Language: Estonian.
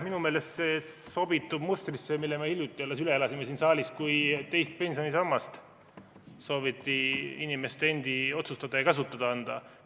Minu meelest see sobitub mustrisse, mille me alles hiljuti üle elasime siin saalis, kui teist pensionisammast sooviti inimeste endi otsustada ja käsutada anda.